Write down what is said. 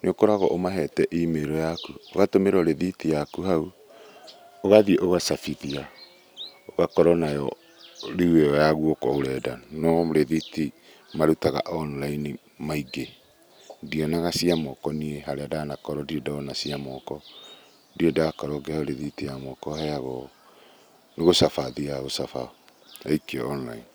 nĩũkũragwo ũmahete E-Mail yaku, ũgatũmĩrwo rĩthĩti yaku hau ũgathiĩ ũgacabithia, ũgakorwo nayo rĩu ĩyo ya guoko ũrenda. No rithiti marutaga online kaingĩ. Ndionaga cia moko harĩa ndanakorwo ndirĩ ndona cia moko, ndirĩndakorwo ngĩheo rĩthiti ya moko heagwo , nĩgũcaba thiaga gũcaba yaikio online.